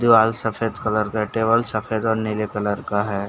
दीवाल सफ़ेद कलर का है टेबल सफ़ेद और नीले कलर का है।